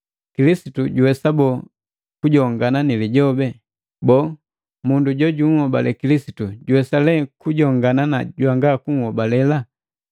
Kilisitu juwesa bole kujongana ni lijobi? Boo, mundu jojuhobale Kilisitu juwesa lee kujongana na jwanga kuhobalela?